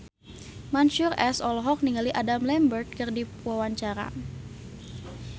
Mansyur S olohok ningali Adam Lambert keur diwawancara